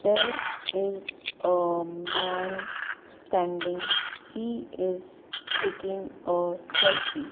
there is a man standing he is taking a selfie.